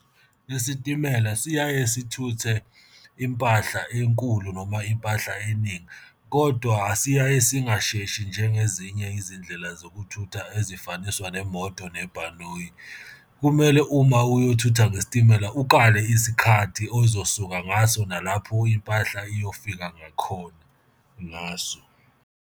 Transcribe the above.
Isitimela siyaye sithuthe impahla enkulu noma impahla eningi, kodwa siyaye singasheshi njengezinye izindlela zokuthutha ezifaniswa nemoto nebhanoyi. Kumele uma uyothutha ngesitimela ukale isikhathi ozosuka ngaso, nalapho impahla iyofika ngakhona ngaso.